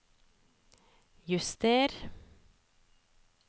juster